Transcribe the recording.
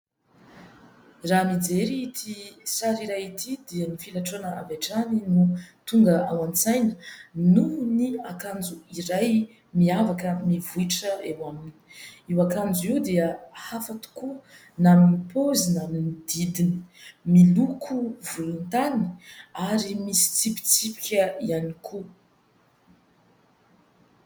Raha mijery ity sary iray ity dia ny filatroana avy hatrany no tonga ao an-tsaina noho ny akanjo iray miavaka mivohitra eo aminy. Io akanjo io dia hafa tokoa na amin'ny pozy na amin'ny didiny. Miloko volontany ary misy tsipitsipika ihany koa.